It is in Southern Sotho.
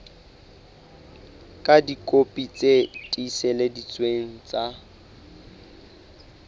ka dikopi tse tiiseleditsweng tsa